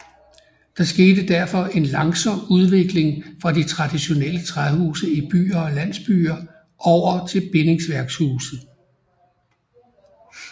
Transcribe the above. Der skete derfor en langsom udvikling fra de traditionelle træhuse i byer og landsbyer over til bindingsværkshuse